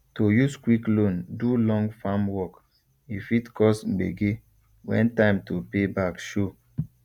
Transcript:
to use quick loan do long farm work e fit cause gbege when time to pay back show